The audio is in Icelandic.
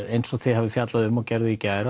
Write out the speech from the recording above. eins og þið hafið fjallað um og gerðuð í gær